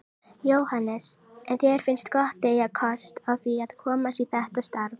Jóhannes: En þér finnst gott að eiga kost á því að komast í þetta starf?